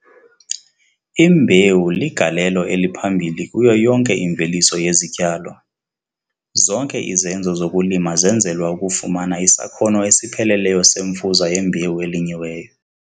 Imbewu ligalelo eliphambili kuyo yonke imveliso yezityalo. Zonke izenzo zokulima zenzelwa ukufumana isakhono esipheleleyo semfuza yembewu elinyiweyo.